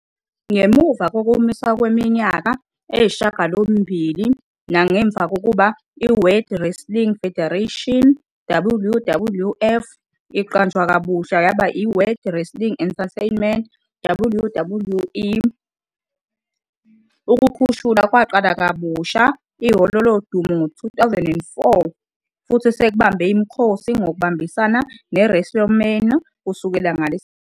Ngemuva kokumiswa kweminyaka eyisishiyagalombili nangemva kokuba iWorld Wrestling Federation, WWF, iqanjwe kabusha yaba yiWorld Wrestling Entertainment, WWE, ukukhushulwa kwaqala kabusha iHholo Lodumo ngo-2004 futhi sekubambe imikhosi ngokubambisana neWrestleMania kusukela ngaleso sikhathi.